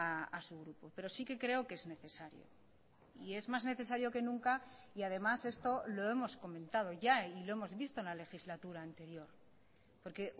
a su grupo pero sí que creo que es necesario y es más necesario que nunca y además esto lo hemos comentado ya y lo hemos visto en la legislatura anterior porque